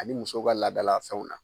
Ani musow ka laadala fɛnw na.